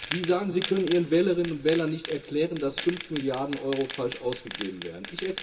Sie sagen, Sie können Ihren Wählerinnen und Wählern nicht erklären, dass 5 Milliarden Euro falsch ausgegeben werden.